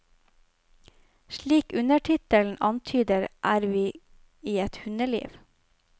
Slik undertittelen antyder, er vi i et hundeliv.